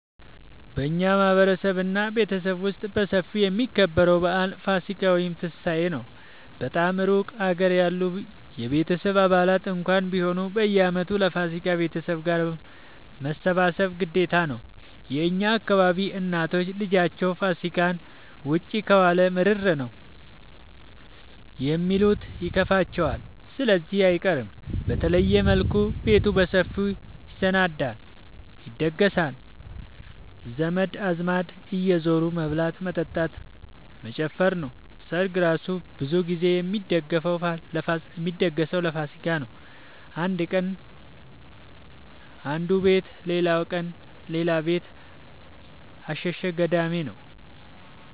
በእኛ ማህበረሰብ እና ቤተሰብ ውስጥ በሰፊው የሚከበረው በአል ፋሲካ(ትንሳኤ) ነው። በጣም እሩቅ ሀገር ያሉ የቤተሰብ አባላት እንኳን ቢሆኑ በየአመቱ ለፋሲካ ቤተሰብ ጋር መሰብሰብ ግዴታ ነው። የእኛ አካባቢ እናቶች ልጃቸው ፋሲካን ውጪ ከዋለ ምርር ነው የሚሉት ይከፋቸዋል ስለዚህ አይቀርም። በተለየ መልኩ ቤቱ በሰፊው ይሰናዳል(ይደገሳል) ዘመድ አዝማድ እየዙሩ መብላት መጠጣት መጨፈር ነው። ሰርግ እራሱ ብዙ ግዜ የሚደገሰው ለፋሲካ ነው። አንድ ቀን አነዱ ቤት ሌላቀን ሌላ ቤት አሸሸ ገዳሜ ነው።